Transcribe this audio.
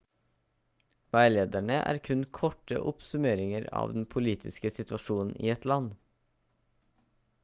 veilederne er kun korte oppsummeringer av den politiske situasjonen i et land